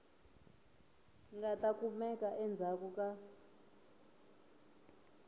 nga ta kumeka endzhaku ka